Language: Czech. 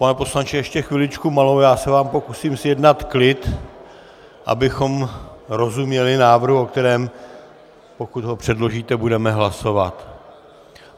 Pane poslanče, ještě chviličku malou, já se vám pokusím zjednat klid, abychom rozuměli návrhu, o kterém, pokud ho předložíte, budeme hlasovat.